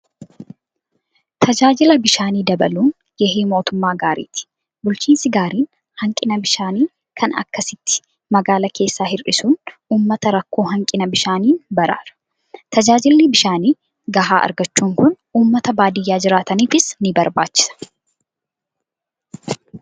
Tajaajila bishaanii dabaluun gahee mootummaa gaariiti. Bulchiinsi gaariin hanqina bishaanii kana akkasitti magaalaa keessaa hir'isuun uummata rakkoo hanqina bishaanii baraara. Tajaajilli bishaan gahaa argachuu kun uummata baadiyaa jiraataniifis ni barbaachisa.